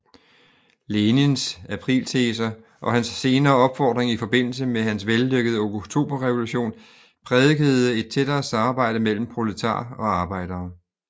Lenins aprilteser og hans senere opfordring i forbindelse med hans vellykkede oktoberrevolution prædikede et tættere samarbejde mellem proletarer og arbejdere